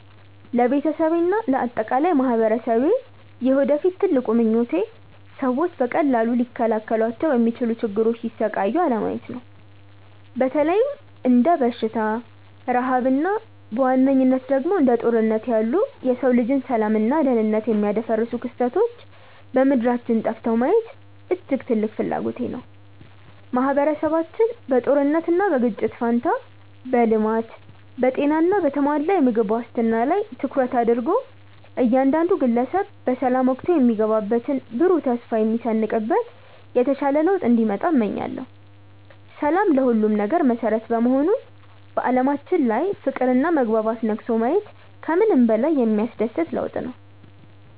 ለቤተሰቤና ለአጠቃላይ ማኅበረሰቤ የወደፊት ትልቁ ምኞቴ ሰዎች በቀላሉ ሊከላከሏቸው በሚችሉ ችግሮች ሲሰቃዩ አለማየት ነው። በተለይም እንደ በሽታ፣ ረሃብ እና በዋነኝነት ደግሞ እንደ ጦርነት ያሉ የሰው ልጅን ሰላምና ደኅንነት የሚያደፈርሱ ክስተቶች ከምድራችን ጠፍተው ማየት እጅግ ትልቅ ፍላጎቴ ነው። ማኅበረሰባችን በጦርነትና በግጭት ፋንታ በልማት፣ በጤና እና በተሟላ የምግብ ዋስትና ላይ ትኩረት አድርጎ እያንዳንዱ ግለሰብ በሰላም ወጥቶ የሚገባበትና ብሩህ ተስፋ የሚሰንቅበት የተሻለ ለውጥ እንዲመጣ እመኛለሁ። ሰላም ለሁሉም ነገር መሠረት በመሆኑ በዓለማችን ላይ ፍቅርና መግባባት ነግሶ ማየት ከምንም በላይ የሚያስደስት ለውጥ ነው።